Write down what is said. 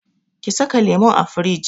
Ki saka lemun a firij!